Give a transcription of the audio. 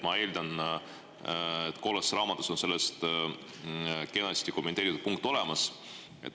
Ma eeldan, et kollases raamatus on selle kohta kenasti kommenteeritud punkt olemas.